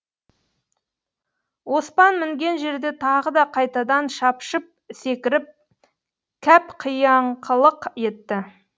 оспан мінген жерде тағы да қайтадан шапшып секіріп кәп қияңқылық етті